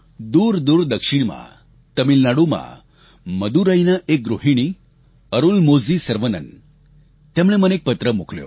દૂરદૂર દક્ષિણમાં તમિલનાડુમાં મદુરાઈના એક ગૃહિણી અરુલમોજી સર્વનન તેમણે મને એક પત્ર મોકલ્યો